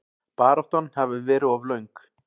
Baráttan hafi verið of löng.